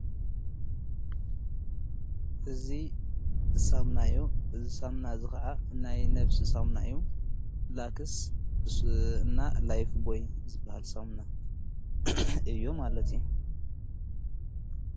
እዙ ሳምናዮ ዝሳምና ዝኸዓ ናይ ነፍሲ ሳምና እዮ ።ላክስ እና ላይፍ ቦይ ዝበሃል ሳምና እዮ።